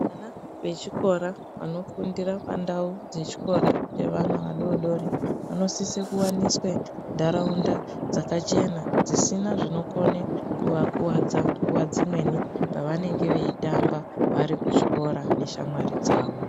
Vana vechikora vanofundira pandau dzechikora chevana vadodori vanosisa kuwaniswe ntaraunda dzakachena dzisina zvinokone kuvakuvadza nguwadzimweni pevanenge vechitamba varikuchikora neshamwari dzavo.